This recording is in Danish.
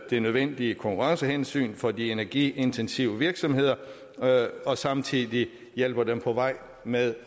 de nødvendige konkurrencehensyn for de energiintensive virksomheder og samtidig hjælper dem på vej med